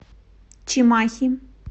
чимахи